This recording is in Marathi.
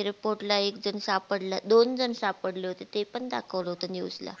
airport ला एक जन सापडला दोन जन सापडले होते ते पण दाखवत होते news ला